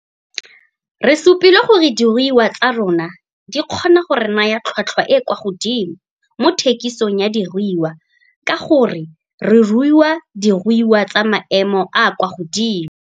Re supile gore diruiwa tsa rona di kgoina go re naya tlhotlhwa e e kwa godimo mo thekisong ya diruiwa ka gore re rua diruiwa tsa maemo a a kwa godimo.